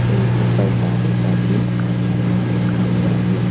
एक उपर जाली पर भी आकांक्षा नाम लिखा हुआ है।